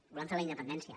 volem fer la independència